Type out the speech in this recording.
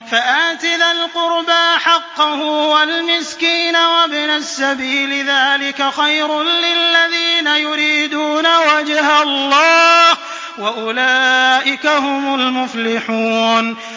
فَآتِ ذَا الْقُرْبَىٰ حَقَّهُ وَالْمِسْكِينَ وَابْنَ السَّبِيلِ ۚ ذَٰلِكَ خَيْرٌ لِّلَّذِينَ يُرِيدُونَ وَجْهَ اللَّهِ ۖ وَأُولَٰئِكَ هُمُ الْمُفْلِحُونَ